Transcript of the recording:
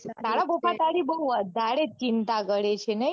તારા પપ્પા તારી બઉ વધારે જ ચિંતા કરે છે નઈ